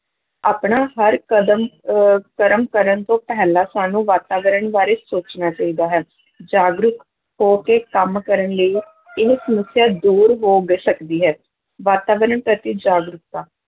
ਆਪਣਾ ਹਰ ਕਦਮ ਅਹ ਕਰਮ ਕਰਨ ਤੋਂ ਪਹਿਲਾਂ ਸਾਨੂੰ ਵਾਤਾਵਰਨ ਬਾਰੇ ਸੋਚਣਾ ਚਾਹੀਦਾ ਹੈ ਜਾਗਰੂਕ ਹੋ ਕੇ ਕੰਮ ਕਰਨ ਲਈ ਇਹ ਸਮੱਸਿਆ ਦੂਰ ਹੋ ਗ~ ਸਕਦੀ ਹੈ, ਵਾਤਾਵਰਨ ਪ੍ਰਤੀ ਜਾਗਰੂਕਤਾ,